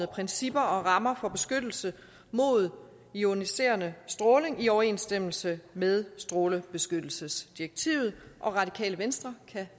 principper og rammer for beskyttelse mod ioniserende stråling i overensstemmelse med strålebeskyttelsesdirektivet og radikale venstre kan